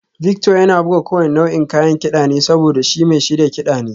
Victor yana buga kowane nau'in kayan kida ne saboda shi mai shirya kiɗa ne